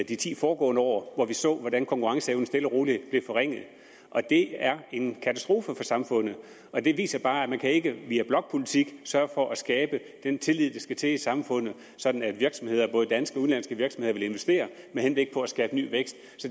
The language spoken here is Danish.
de ti foregående år hvor man så hvordan konkurrenceevnen stille og roligt blev forringet det er en katastrofe for samfundet og det viser bare at man ikke via blokpolitik kan sørge for at skabe den tillid der skal til i samfundet sådan at både danske og udenlandske virksomheder vil investere med henblik på at skabe ny vækst